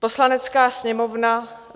"Poslanecká sněmovna: